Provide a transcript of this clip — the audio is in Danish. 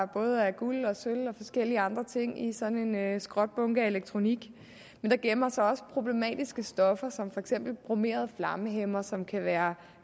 både er guld og sølv og forskellige andre ting i sådan en skrotbunke af elektronik men der gemmer sig også problematiske stoffer som for eksempel bromerede flammehæmmere som kan være